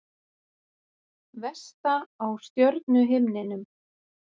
Vesta á stjörnuhimninum